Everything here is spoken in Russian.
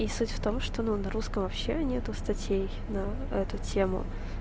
и суть в том что ну на русском вообще нет статей на эту тему